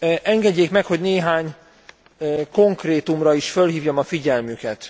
Engedjék meg, hogy néhány konkrétumra is fölhívjam a figyelmüket.